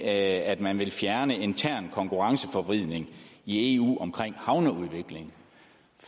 at man vil fjerne intern konkurrenceforvridning i eu omkring havneudvikling